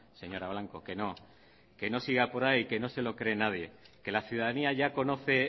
señora blanco que no que no siga por ahí que no se lo cree nadie que la ciudadanía ya conoce